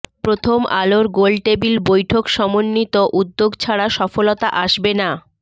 প্রথম আলোর গোলটেবিল বৈঠক সমন্বিত উদ্যোগ ছাড়া সফলতা আসবে না